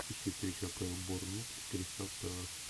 ищи встречу апл борнмут кристал пэлас